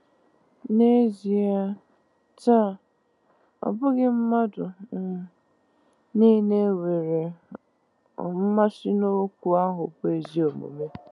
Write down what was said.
N’ezie, taa, ọ bụghị mmadụ um niile nwere um mmasị n’okwu ahụ bụ́ “ezi omume.”